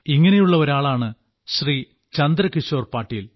ഇങ്ങനെയുള്ള ഒരാളാണ് ശ്രീ ചന്ദ്രകിശോർ പാട്ടീൽ